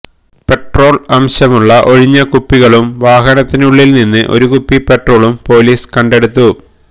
petrol അംശമുളള ഒഴിഞ്ഞ കുപ്പികളും വാഹനത്തിനുളളില് നിന്ന് ഒരു കുപ്പി പെട്രോളും പോലീസ് കണ്ടെടുത്തു